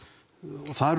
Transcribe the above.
það eru